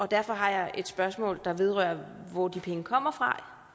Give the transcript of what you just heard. derfor har jeg et spørgsmål der vedrører hvor de penge kommer fra